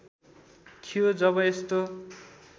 थियो जब यस्तो